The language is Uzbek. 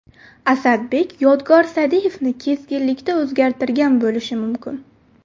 Asadbek Yodgor Sa’diyevni keskinlikda o‘zgartirgan bo‘lishi mumkin.